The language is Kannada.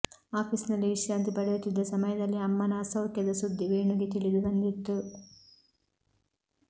ಆಫೀಸ್ನಲ್ಲಿ ವಿಶ್ರಾಂತಿ ಪಡೆಯುತ್ತಿದ್ದ ಸಮಯದಲ್ಲಿ ಅಮ್ಮನ ಅಸೌಖ್ಯದ ಸುದ್ದಿ ವೇಣುಗೆ ತಿಳಿದು ಬಂದಿತ್ತು